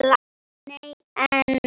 Nei en.